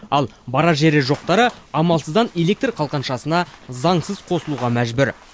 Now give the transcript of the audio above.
ал барар жері жоқтары амалсыздан электр қалқаншасына заңсыз қосылуға мәжбүр